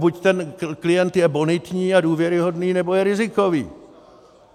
Buď ten klient je bonitní a důvěryhodný, nebo je rizikový.